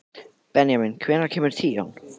Benjamín, hvenær kemur tían?